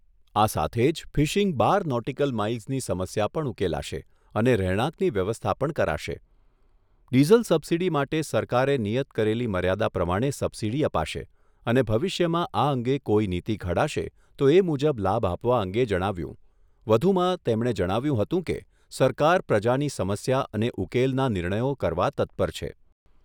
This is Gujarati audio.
આ સાથે જ ફિશીંગ બાર નોટીકલ માઈલ્સની સમસ્યા પણ ઉકેલાશે અને રહેણાંકની વ્યવસ્થા પણ કરાશે. ડીઝલ સબસિડી માટે સરકારે નિયત કરેલી મર્યાદા પ્રમાણે સબસિડી અપાશે અને ભવિષ્યમાં આ અંગે કોઈ નીતિ ઘડાશે, તો એ મુજબ લાભ આપવા અંગે જણાવ્યુંં વધુમાં તેમણે જણાવ્યુંં હતું કે, સરકાર પ્રજાની સમસ્યા અને ઉકેલના નિર્ણયો કરવા તત્પર છે.